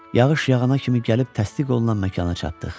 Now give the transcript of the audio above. Yağış yağana kimi gəlib təsdiq olunan məkana çatdıq.